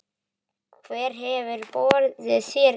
Hver hefur boðið þér inn?